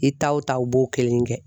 I taw ta u b'o kelen kɛ.